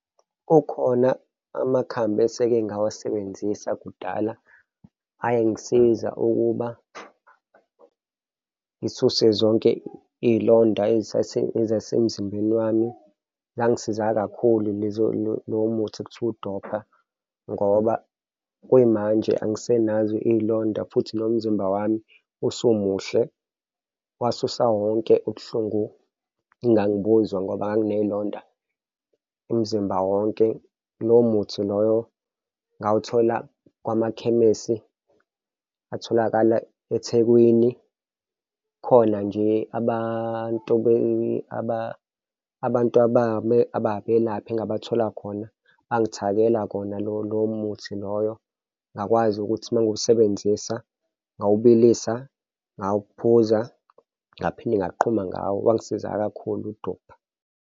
Kukhona amakhambi eseke ngawasebenzisa kudala ayengisiza ukuba ngisuse zonke iy'londa ezasemzimbeni wami. Langisiza kakhulu lowo muthi ekuthiwa uDopa ngoba kuyimanje angisenazo iy'londa futhi nomzimba wami usumuhle, wasusa wonke ubuhlungu engangibuza ngoba nganginey'londa umzimba wonke. Lo muthi loyo ngawuthola kumakhemesi atholakale eThekwini. Khona nje abantu abantu ababelaphi engingabathola khona bangithakela wona lo muthi loyo ngakwazi ukuthi uma ngiwusebenzisa ngawubilisa ngawuphuza, ngaphinde ngaqhuma ngawo. Wangisiza kakhulu uDopa.